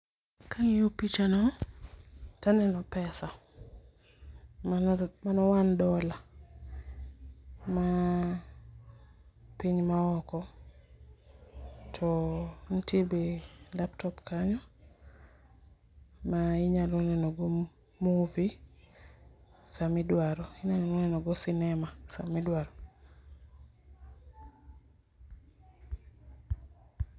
Ka ang'iyo picha no to aneno pesa mano one dollar ma piny ma oko. To nitie laptop kanyo ma inya neno go movie sami iduaro .Inyalo neno go sinema sama idwaro.